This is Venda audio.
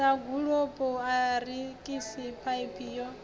sa gulokulo arikisi phaiphi ya